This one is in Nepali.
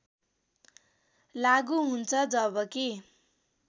लागु हुन्छ जबकि